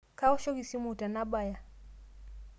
Kawoshoki simu tenabaya